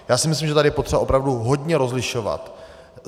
Já si myslím, že tady je potřeba opravdu hodně rozlišovat.